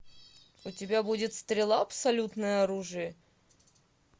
у тебя будет стрела абсолютное оружие